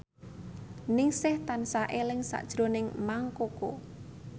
Ningsih tansah eling sakjroning Mang Koko